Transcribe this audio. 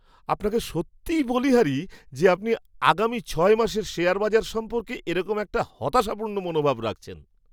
আপনাকে সত্যিই বলিহারি যে, আপনি আগামী ছয় মাসের শেয়ার বাজার সম্পর্কে এরকম একটা হতাশাপূর্ণ মনোভাব রাখছেন!